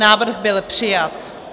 Návrh byl přijat.